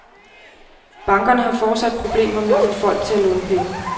Bankerne har fortsat problemer med at få folk til at låne penge.